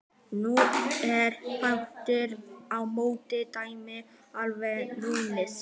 Nú er aftur á móti dæmið alveg snúið við.